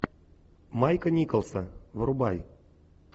майка николса врубай